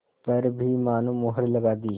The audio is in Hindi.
पर भी मानो मुहर लगा दी